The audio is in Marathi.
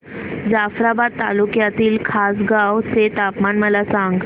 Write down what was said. जाफ्राबाद तालुक्यातील खासगांव चे तापमान मला सांग